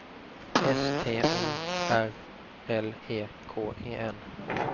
S T O R L E K E N